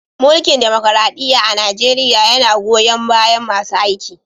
Mulki'n dimokuradiyya a'Nijeriya yanna goyon baya masun aziki.